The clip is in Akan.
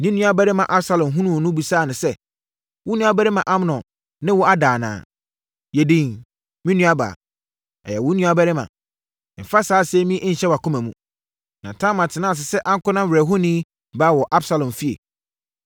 Ne nuabarima Absalom hunuu no bisaa no sɛ, “Wo nuabarima Amnon ne wo ada anaa? Yɛ dinn, me nuabaa; ɔyɛ wo nuabarima. Mfa saa asɛm yi nhyɛ wʼakoma mu.” Na Tamar tenaa ase sɛ ankonam werɛhoni baa wɔ Absalom fie.